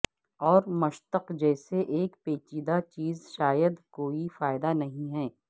اور مشتق جیسے ایک پیچیدہ چیز شاید کوئی فائدہ نہیں ہے